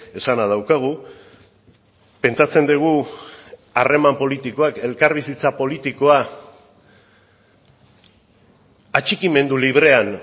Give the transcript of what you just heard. esana daukagu pentsatzen dugu harreman politikoak elkarbizitza politikoa atxikimendu librean